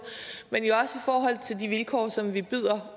men jo også i forhold til de vilkår som vi byder